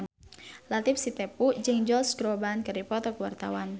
Latief Sitepu jeung Josh Groban keur dipoto ku wartawan